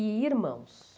E irmãos?